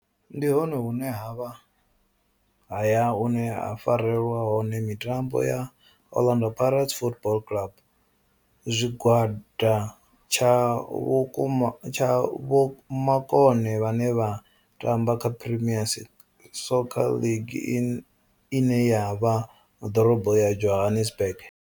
Ndi hone hune havha haya hune ha farelwa hone mitambo ya Orlando Pirates Football Club. Zwigwada tsha vhukuma tsha vhomakone vhane vha tamba kha Premier Soccer League ine ya vha ḓorobo ya Johannesburg.